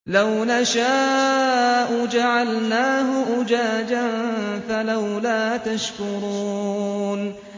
لَوْ نَشَاءُ جَعَلْنَاهُ أُجَاجًا فَلَوْلَا تَشْكُرُونَ